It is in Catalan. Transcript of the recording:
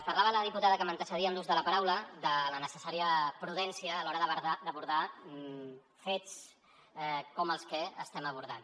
parlava la diputada que m’antecedia en l’ús de la paraula de la necessària prudència a l’hora d’abordar fets com els que estem abordant